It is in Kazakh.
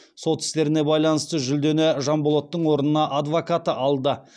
сот істеріне байланысты жүлдені жанболаттың орнына адвокаты алды